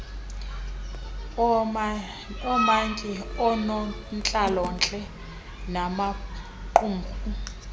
oomantyi oonontlalontle namaqumrhu